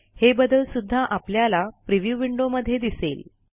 हे बदल सुध्दा आपल्याला प्रिव्ह्यू विंडो मध्ये दिसेल